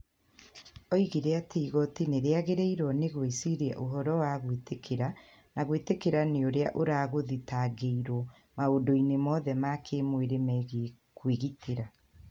Oigire atĩ igooti nĩ rĩagĩrĩirũo nĩ gwĩciria ũhoro wa gwĩtĩkĩrĩka na gwĩtĩkĩrĩka nĩ ũrĩa ũragũthitangĩrũo maũndũ-inĩ mothe ma kĩĩmwĩrĩ megiĩ kwĩgitĩra.